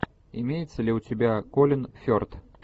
имеется ли у тебя колин ферт